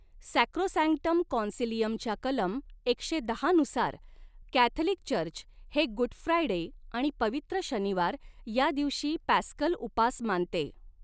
Sacrosanctum कॉन्सिलियमच्या कलम एकशे दहानुसार कॅथलिक चर्च हे गुड फ्रायडे आणि पवित्र शनिवार या दिवशी पॅस्कल उपास मानते